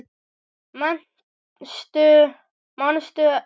Manstu eftir fyrstu bíóferð þinni?